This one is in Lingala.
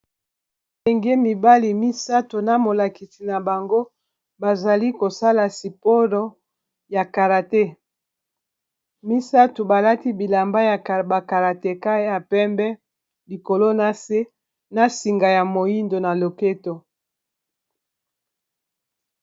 Bandenge mibali misato na molakisi na bango bazali kosala siporo ya karate, misato balati bilamba ya bakarateca ya pembe likolo na se na singa ya moindo na loketo.